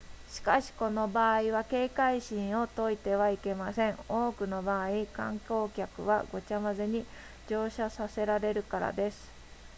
しかしこの場合は警戒心を解いてはいけません多くの場合観光客はごちゃ混ぜに乗車させられるからです